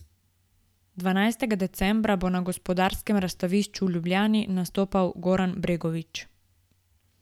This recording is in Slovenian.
Dvanajstega decembra bo na Gospodarskem razstavišču v Ljubljani nastopil Goran Bregović.